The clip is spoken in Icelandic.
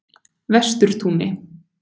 Vesturtúni